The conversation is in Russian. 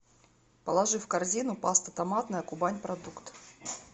положи в корзину паста томатная кубань продукт